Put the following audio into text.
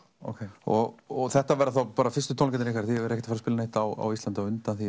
og og þetta verða þá fyrstu tónleikarnir ykkar þið eruð ekkert að að spila neitt á Íslandi á undan því